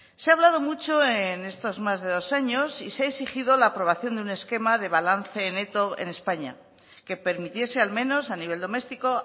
se ha hablado mucho en estos más de dos años y se ha exigido la aprobación de un esquema de balance neto en españa que permitiese al menos a nivel domestico